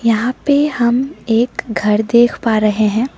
यहां पे हम एक घर देख पा रहे हैं।